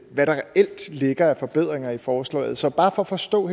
hvad der reelt ligger af forbedringer i forslaget så bare for at forstå